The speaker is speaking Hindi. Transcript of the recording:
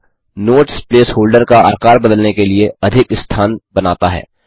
यह नोट्स प्लेस होल्डर का आकार बदलने के लिए अधिक स्थान बनाता है